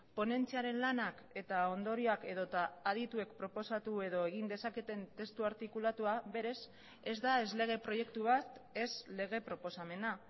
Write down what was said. ponentziaren lanak eta ondorioak edota adituek proposatu edo egin dezaketen testu artikulatua berez ez da ez lege proiektu bat ez lege proposamena